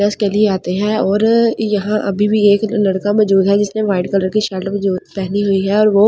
case के लिए आते है और यहां अभी भी एक लड़का में जोधा जिसने ब्‍हाईट कलर की र्शट में जो पहनी हुई हे और वो ऐ वेट डा --